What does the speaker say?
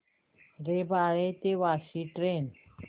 रबाळे ते वाशी ट्रेन